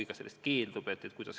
Ta võib sellest algul keelduda.